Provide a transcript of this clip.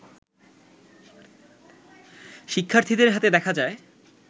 শিক্ষার্থীদের হাতে দেখা যায়